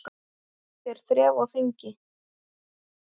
Oft er þref á þingi.